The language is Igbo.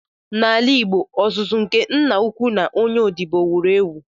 N’ala Igbo, ọzụzụ nke Nna-ukwu na onye odibo wuru ewu.